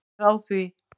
Ég er á því.